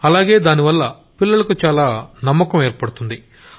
అలాగే దానివల్ల పిల్లలకు చాలా కాన్ఫిడెన్స్ కలుగుతుంది